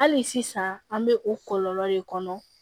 Hali sisan an bɛ o kɔlɔlɔ de kɔnɔ